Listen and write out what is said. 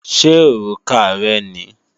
Ṣé òrùka rẹ ni?